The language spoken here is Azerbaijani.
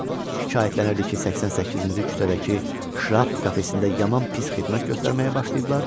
Şikayətlənirdi ki, 88-ci küçədəki şraft kafesində yaman pis xidmət göstərməyə başlayıblar.